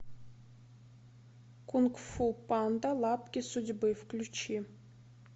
кунг фу панда лапки судьбы включи